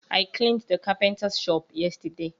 I cleaned the carpenter's shop yesterday